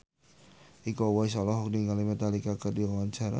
Iko Uwais olohok ningali Metallica keur diwawancara